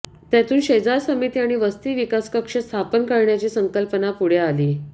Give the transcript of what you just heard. त्यातून शेजार समिती आणि वस्ती विकास कक्ष स्थापन करण्याची संकल्पना पुढे आली